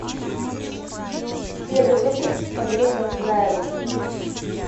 первый выпуск с андреем разыграевым